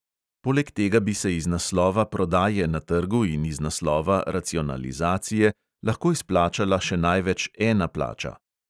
Poleg tega bi se iz naslova prodaje na trgu in iz naslova racionalizacije lahko izplačala še največ ena plača.